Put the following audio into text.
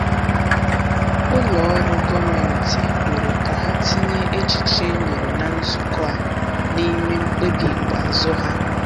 Ụlọ ọrụ gọọmenti kwere ka ha tinye echiche e nyere na nzukọ a n’ime mkpebi ikpeazụ ha.